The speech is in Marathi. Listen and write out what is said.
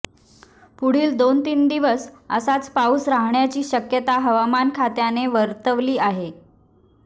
पुढील दोन तीन दिवस असाच पाऊस राहण्याची शक्यता हवामान खात्याने वर्तवली आहे